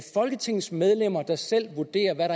folketingets medlemmer der selv vurderer hvad